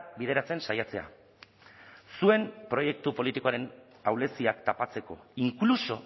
bideratzen saiatzea zuen proiektu politikoaren ahuleziak tapatzeko incluso